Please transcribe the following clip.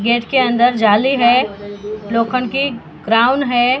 Gate के अंदर जाली है लोखंड की ग्राउंड है।